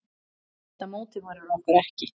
Þetta mótiverar okkur ekki.